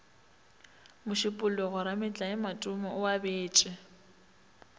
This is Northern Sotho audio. mošupologo rametlae matome o abetše